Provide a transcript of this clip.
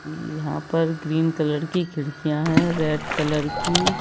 यहाँ पर green colour की खिड़कियां हैं रेड कलर की--